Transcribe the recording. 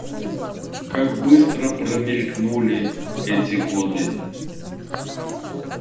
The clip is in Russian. как быстро промелькнули эти годы